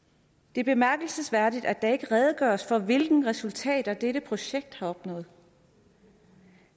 det er bemærkelsesværdigt at der ikke redegøres for hvilke resultater dette projekt har opnået